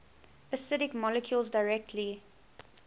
acidic molecules directly